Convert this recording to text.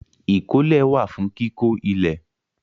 Ìkọ́lé wà fún kíkó ilẹ̀.